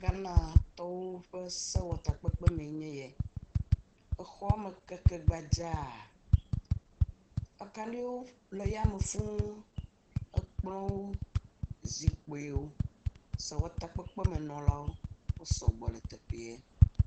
Ghanatɔwo ƒe sewɔtakpekpe mee nye ye, exɔ me keke gbadza, akaɖiwo le yame fũu ekplɔwo zikpuiwo, sewɔtakpekpemenɔlawo, wosɔgbɔ le teƒee.